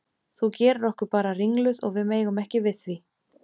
Þú gerir okkur bara ringluð og við megum ekki við því.